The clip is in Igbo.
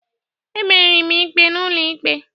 Emeri m ikpe n'ụlọikpe